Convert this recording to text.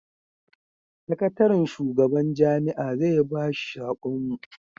sakatarin shugaban jami'a zai ba shi sakon mu